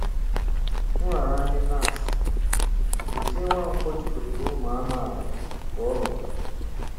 Nraranye NASS: Dozie Nwankwọ jikọtara ụmụ amaala ka ọ lọtara